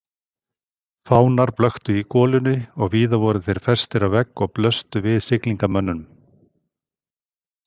Fánar blöktu í golunni og víða voru þeir festir á veggi og blöstu við siglingamönnum.